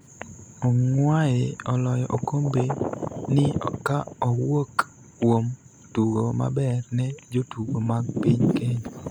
Ongwae oloyo okombe ni ka owuok kuom tugo maber ne jotugo mag piny Kenya